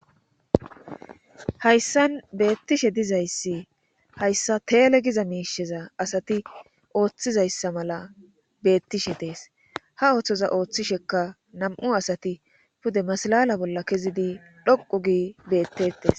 Hayssan beettishe dizayssi hayssa teele giza miisheza asati ooththizayssa mala beettishe dees ha ooththoza ooththisheka nam'u asati pude masalala bolla kezidi dhoqu gi beettettes